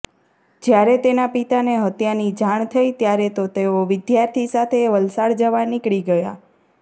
જ્યારે તેના પિતાને હત્યાની જાણ થઈ ત્યારે તો તેઓ વિદ્યાર્થી સાથે વલસાડ જવા નીકળી ગયા